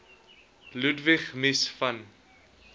ludwig mies van